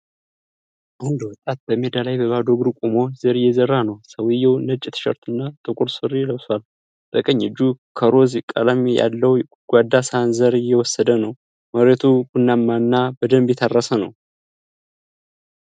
አንድ ወጣት በሜዳ ላይ በባዶ እግሩ ቆሞ ዘር እየዘራ ነው። ሰውየው ነጭ ቲሸርት እና ጥቁር ሱሪ ለብሷል። በቀኝ እጁ ከሮዝ ቀለም ያለው ጎድጓዳ ሳህን ዘር እየወሰደ ነው። መሬቱ ቡናማና በደንብ የታረሰ ነው።